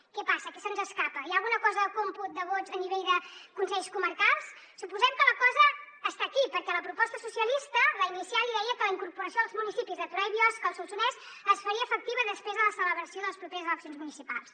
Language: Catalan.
què passa què se’ns escapa hi ha alguna cosa del còmput de vots a nivell de consells comarcals suposem que la cosa està aquí perquè a la proposta socialista la inicial hi deia que la incorporació dels municipis de torà i biosca al solsonès es faria efectiva després de la celebració de les properes eleccions municipals